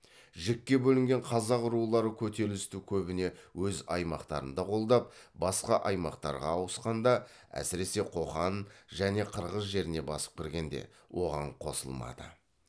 жікке бөлінген қазақ рулары көтерілісті көбіне өз аймақтарында қолдап басқа аймақтарға ауысқанда әсіресе қоқан және қырғыз жеріне басып кіргенде оған қосылмады